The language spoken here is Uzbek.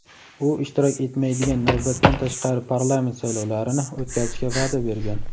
u ishtirok etmaydigan navbatdan tashqari parlament saylovlarini o‘tkazishga va’da bergan.